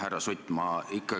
Härra Sutt!